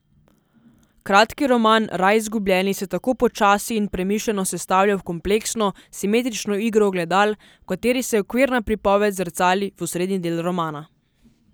Kratki roman Raj izgubljeni se tako počasi in premišljeno sestavlja v kompleksno, simetrično igro ogledal, v kateri se okvirna pripoved zrcali v osrednji del romana.